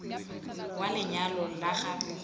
wa lenyalo la ga mogoloo